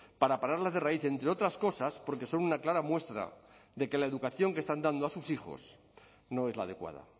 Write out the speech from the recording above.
para pararlas de raíz entre otras cosas porque son una clara muestra de que la educación que están dando a sus hijos no es la adecuada